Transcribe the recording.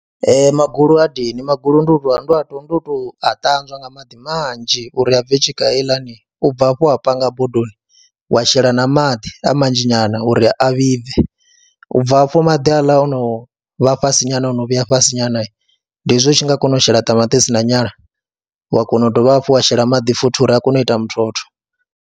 Ee, magulu ha dini, magulu then ndi tou, ndo a tou, ndo tou a ṱanzwa nga maḓi manzhi uri a bve tshika heiḽani, u bva hafho wa panga bodoni wa shela na maḓi a manzhi nyana uri a vhibve, u bva hafho maḓi haaḽa o no vha fhasi nyana o no vhuya fhasi nyana ndi hezwi u tshi nga kona u shela ṱamaṱisi na nyala wa kona u dovha hafhu wa shela maḓi futhi uri a kone u ita muthotho.